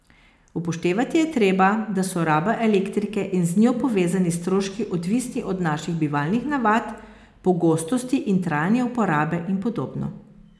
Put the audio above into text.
Upoštevati je treba, da so raba elektrike in z njo povezani stroški odvisni od naših bivalnih navad, pogostosti in trajanja uporabe in podobno.